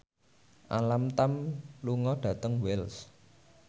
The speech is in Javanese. Alam Tam lunga dhateng Wells